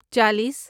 چالیس